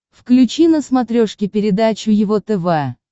включи на смотрешке передачу его тв